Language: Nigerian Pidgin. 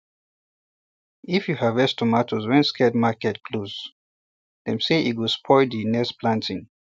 if you harvest tomato when sacred market close dem say e go spoil the next planting